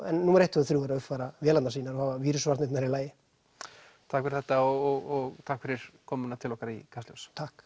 númer eitt tvö og þrjú er að uppfæra vélarnar sínar og að hafa vírusvarnirnar í lagi takk fyrir þetta og takk fyrir komuna til okkar í Kastljós takk